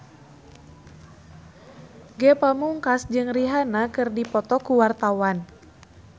Ge Pamungkas jeung Rihanna keur dipoto ku wartawan